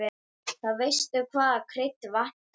Þá veistu hvaða krydd vantar!